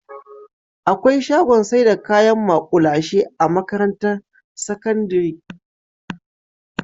Akwai shagon saida kayan ma'kulashe a makarantar sakandari